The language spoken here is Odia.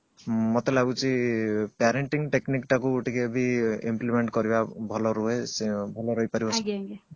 ମତେ ଲାଗୁଛି parenting technic ଟାକୁ ଟିକେ ବି implement କରିବା ଟିକେ ଭଲ ରୁହେ ଭଲ ରହି ପାରିବ